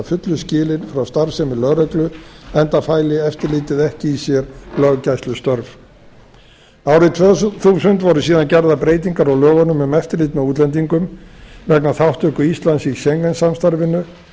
að fullu skilið frá starfsemi lögreglu enda fæli eftirlitið ekki í sér löggæslustörf árið tvö þúsund voru síðan gerðar breytingar á lögunum um eftirlit með útlendingum vegna þátttöku íslands í schengen samstarfinu með